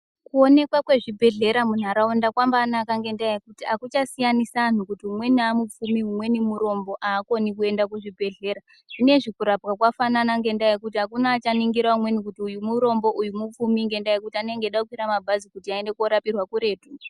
Kuonekwa kwezvibhedhlera munharaunda kwambanaka ngenda yekuti hakuchasiyanisi antu kuti umweni amupfumi umweni amurombo hakoni kuende kuzvibhedhlera. Zvineizvi kurapa kwafanana ngendaa yekuti achiningira umweni kuti uyu murombo uyu mupfumi nendaa yekuti anenge achadakwira mabhazi kuti aende korapirwa kuretu.